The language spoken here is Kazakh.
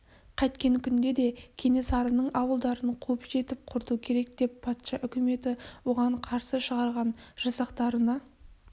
қайткен күнде де кенесарының ауылдарын қуып жетіп құрту керек деп патша үкіметі оған қарсы шығарған жасақтарына